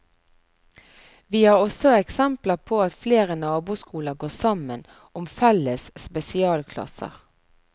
Vi har også eksempler på at flere naboskoler går sammen om felles spesialklasser.